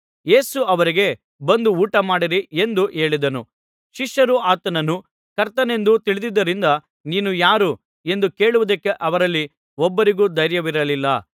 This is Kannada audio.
ಯೇಸು ಅವರಿಗೆ ಬಂದು ಊಟ ಮಾಡಿರಿ ಎಂದು ಹೇಳಿದನು ಶಿಷ್ಯರು ಆತನನ್ನು ಕರ್ತನೆಂದು ತಿಳಿದಿದ್ದರಿಂದ ನೀನು ಯಾರು ಎಂದು ಕೇಳುವುದಕ್ಕೆ ಅವರಲ್ಲಿ ಒಬ್ಬರಿಗೂ ಧೈರ್ಯವಿರಲಿಲ್ಲ